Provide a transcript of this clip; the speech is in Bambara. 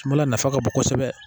Mali la nafa ka bon kosɛbɛ